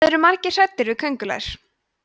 það eru margir hræddir við köngulær